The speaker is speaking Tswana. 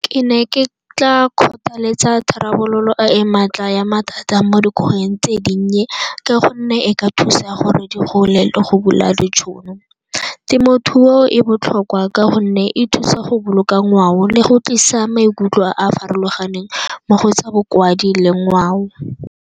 Ke ne ke tla kgothaletsa tharabololo e e maatla ya mathata mo dikgweding tse dinnye ka gonne e ka thusa gore di gole le go bula ditšhono. Temothuo e botlhokwa ka gonne e thusa go boloka ngwao le go tlisa maikutlo a a farologaneng mo go tsa bokwadi le ngwao.